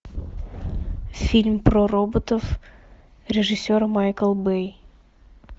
фильм про роботов режиссер майкл бэй